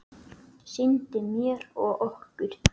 Sýndi mér og okkur